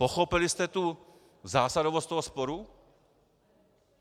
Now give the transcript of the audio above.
Pochopili jste tu zásadovost toho sporu?